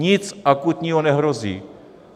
Nic akutního nehrozí.